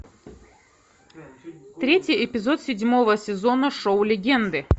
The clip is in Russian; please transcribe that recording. третий эпизод седьмого сезона шоу легенды